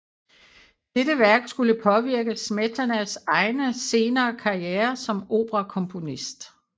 Dette værk skulle påvirke Smetanas egen senere karriere som operakomponist